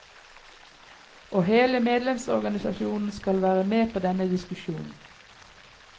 Og hele medlemsorganisasjonen skal være med på denne diskusjonen.